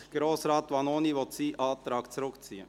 Gut, Grossrat Vanoni will seinen Antrag zurückziehen.